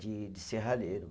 De de serralheiro.